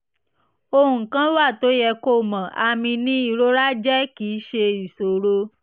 ohun kan wà tó yẹ kó o mọ̀: àmì ni ìrora jẹ́ kì í ṣe ìṣòro